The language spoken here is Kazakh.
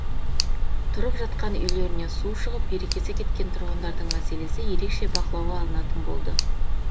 тұрып жатқан үйлерінен су шығып берекесі кеткен тұрғындардың мәселесі ерекше бақылауға алынатын болды